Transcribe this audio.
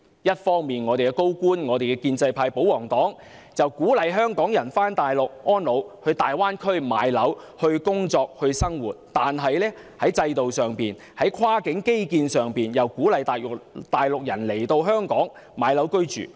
一方面，高官、建制派及保皇黨鼓勵香港人到內地安老，在大灣區買樓、工作、生活，但在制度上、在跨境基建上，則鼓勵大陸人來香港買樓居住。